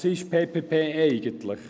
Was ist PPP eigentlich?